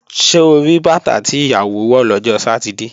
Ṣo rí bàtà tí ìyàwó wọ̀ lọ́jọ́ Sátidé?